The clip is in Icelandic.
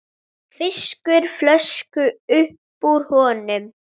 Fiskar flösku upp úr honum.